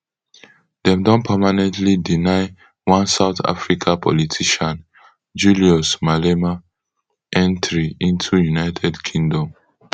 dem don permanently deny one south africa politician julius malema entry into united kingdom